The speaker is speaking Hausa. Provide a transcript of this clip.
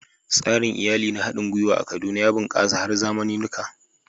Tsarin iyali na haɗin gwiwa a Kaduna ya bunƙasa har zamaninuka